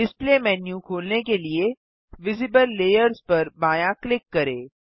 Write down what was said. display menu खोलने के लिए विजिबल लेयर्स पर बायाँ क्लिक करें